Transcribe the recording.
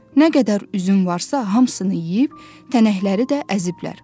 Nə qədər üzüm varsa, hamısını yeyib, tənəkləri də əziblər.